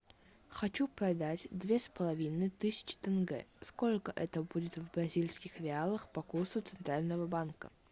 хочу продать две с половиной тысячи тенге сколько это будет в бразильских реалах по курсу центрального банка